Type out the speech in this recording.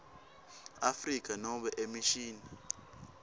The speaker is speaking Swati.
afrika nobe emishini